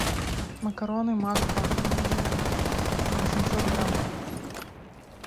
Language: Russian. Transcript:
макароны макфа восемьсот грамм